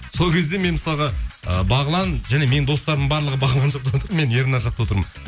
сол кезде мен мысалға ы бағлан және менің достарым барлығы мен ернар жақта отырмын